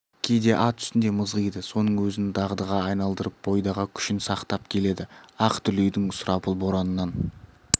кейде ат үстінде мызғиды соның өзін дағдыға айналдырып бойдағы күшін сақтап келеді ақ дүлейдің сұрапыл боранынан